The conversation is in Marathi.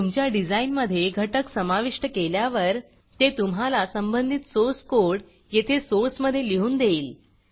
तुमच्या डिझाईनमधे घटक समाविष्ट केल्यावर ते तुम्हाला संबंधित सोर्स कोड येथे सोर्समधे लिहून देईल